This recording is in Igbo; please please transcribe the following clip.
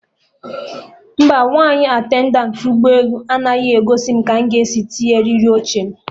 Mba, Nwaanyị attendantị ụgbọ elu anyị gosiri mụ ka mụ ga esi tinye eriri oche m